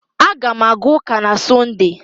Aga m aga ụka na Sọnde